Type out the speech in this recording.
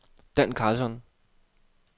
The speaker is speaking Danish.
Dan Carlsson